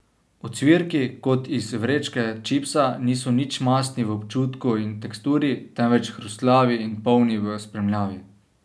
Ocvirki, kot iz vrečke čipsa, niso nič mastni v občutku in teksturi, temveč hrustljavi in polni v spremljavi.